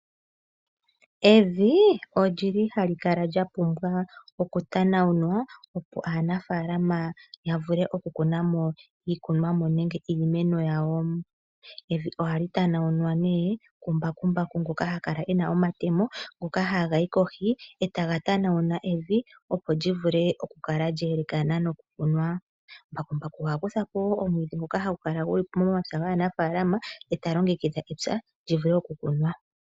Evi ohali kala lya pumbwa okunaulwa, opo aanafaalama ya vule okukuna mo iikunwamo nenge iimeno yawo. Evi ohali tanaulwa kumbakumbaku ngoka ha kala e na omatemo ngoka haga yi kohi e taga tanaula evi, opo li kale lye elekana nawa nokukuna. Mbakumbaku oha kutha po wo omwiidhi ngoka hagu kala gu li momapya gaanafaalama e ta longekidha epya li vule okukunwa.